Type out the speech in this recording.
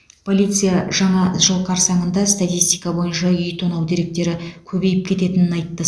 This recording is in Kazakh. полиция жаңа жыл қарсаңында статистика бойынша үй тонау деректері көбейіп кететінін айтты